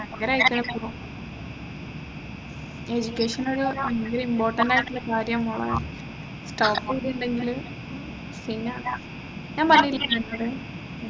ഭയങ്കരായിട്ടുള്ള education ഒരു ഭയങ്കര important ആയിട്ടുള്ള കാര്യാ മോളെ top ചെയ്തിട്ടില്ലെങ്കില് പിന്നെ ഞാൻ പറഞ്ഞിട്ടില്ലേ നിന്നോട്